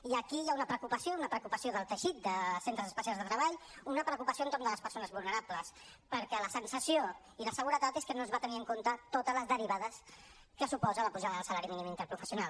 i aquí hi ha una preocupació una preocupació del teixit de centres especials de treball una preocupació entorn de les persones vulnerables perquè la sensació i la seguretat és que no es van tenir en compte totes les derivades que suposa la pujada del salari mínim interprofessional